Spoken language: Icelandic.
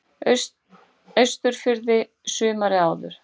Austurfirði sumarið áður.